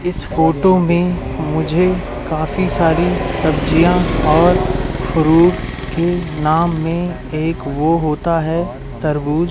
इस फोटो में मुझे काफी सारी सब्जियां और फ्रूट के नाम में एक वो होता है तरबूज--